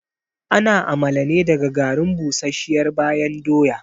Ana amala ne daga garin busasshiyar bayan doya